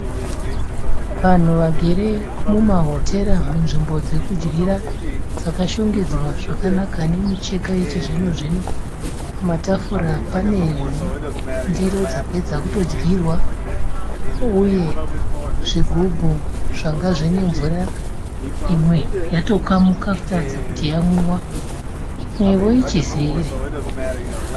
Vanhu vagere mumahotera munzvimbo dzokudyira dzakashongedzawa zvakanaka nemicheka yechizvino -zvino. Pamatafura pane ndiro dzapedza kutodyirwa uye zvigubhu zvanga zvine mvura imwe yatokamuka kutaridza kuti yamwiwa. Imwewo ichizere.